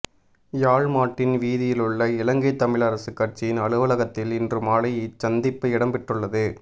யாழ் Martin வீதியிலுள்ள இலங்கை தமிழரசு கட்சியின் அலுவலகத்தில் இன்று மாலை இச்சந்திப்பு இடம்பெற்றுள்ளது